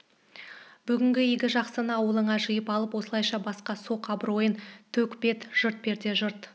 бүгінгі игі жақсыны ауылыңа жиып алып осылайша басқа соқ абыройын төк бет жырт перде жырт